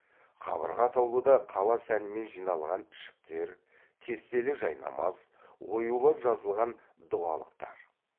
қабырға атаулыда қала сәнімен жиналған ішіктер кестелі жайнамаз оюлап жазылған дұғалықтар